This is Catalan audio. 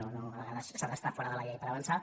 vull dir a vegades s’ha d’estar fora de la llei per avançar